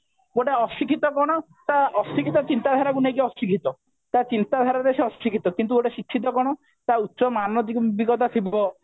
ଗୋଟେ ଅଶିକ୍ଷିତ କଣ ତା ଅଶିକ୍ଷିତ ଚିନ୍ତାଧାରା କୁ ନେଇକି ଅଶିକ୍ଷିତ ତା ଚିନ୍ତାଧାରାରେ ସେ ଅଶିକ୍ଷିତ କିନ୍ତୁ ଗୋଟେ ଶିକ୍ଷିତ କଣ ତା ଉଚ୍ଚ ମାନବିକତା ଥିବ